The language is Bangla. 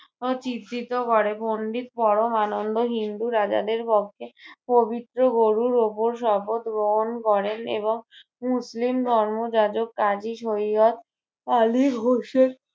আহ চিত্রিত ঘরে বন্দি পরমানন্দ হিন্দু রাজাদের পক্ষে পবিত্র গরুর ওপর শপথ গ্রহণ করেন এবং মুসলিম ধর্ম যাজক কাজী সৈয়দ আলী হোসেন